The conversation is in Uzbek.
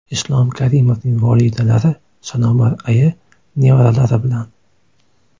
Islom Karimovning volidalari Sanobar aya nevaralari bilan.